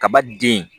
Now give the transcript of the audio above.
Kaba den